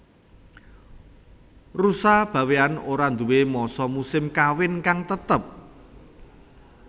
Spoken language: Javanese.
Rusa Bawéan ora nduwé masa musim kawin kang tetep